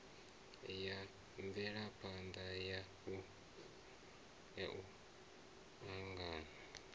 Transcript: ya mvelaphana ya u angana